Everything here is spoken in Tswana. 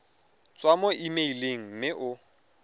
tswa mo emeileng mme o